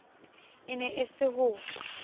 e ne e se ho